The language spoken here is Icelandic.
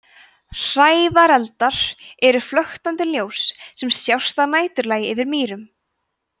hrævareldar eru flöktandi ljós sem sjást að næturlagi yfir mýrum